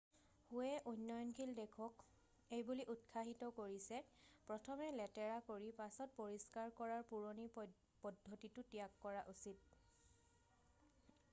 "হুৱে উন্নয়নশীল দেশক এইবুলি উৎসাহিত কৰিছে "প্ৰথমে লেতেৰা কৰি পাছত পৰিষ্কাৰ কৰাৰ পুৰণি পদ্ধতিটো ত্যাগ কৰা উচিত।""